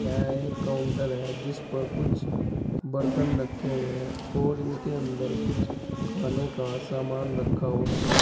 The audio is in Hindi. यह एक काउंटर है जिस पर कुछ बर्तन रखे हुए हैं और इनके अंदर कुछ खाने का सामान रखा हुआ है।